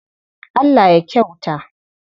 Allah ya kyauta.